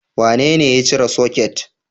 Wanene ya cire soket?